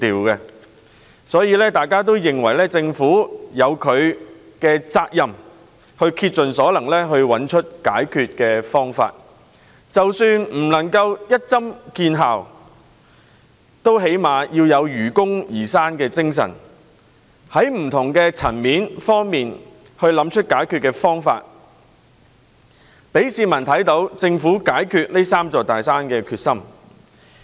因此，大家也認為政府有責任竭盡所能找出解決方法，即使無法立竿見影，至少也應本着愚公移山的精神，在不同層面上找出解決方法，讓市民看到政府解決"三座大山"的決心。